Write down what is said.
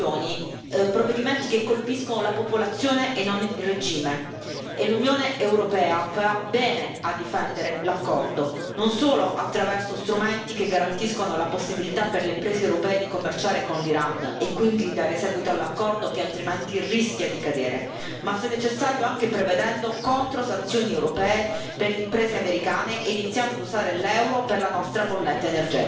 Sono inoltre le sanzioni provvedimenti che colpiscono la popolazione e non il regime e l'Unione europea farà bene a difendere l'accordo, non solo attraverso strumenti che garantiscono la possibilità per le imprese europee di commerciare con l'Iran e quindi di dare seguito all'accordo che altrimenti rischia di cadere, ma se necessario anche prevedendo controsanzioni europee per le imprese americane e iniziando ad usare l'Euro per la nostra bolletta energetica.